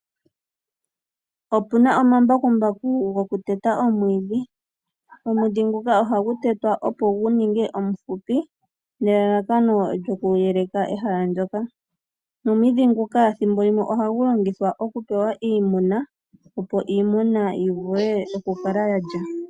Opuna omambakumbaku go ku teta omwiiidhi. Omwiidhi nguka ohagu tetwa opo gu ningwe omuhupi nelalakano lyoku yeleka ehala ndoka .Omwiidhi nguka ethimbolimwe oha gu longithwa opu pewa iimuna opo iimuna yivule okukala yalya omwiidhi.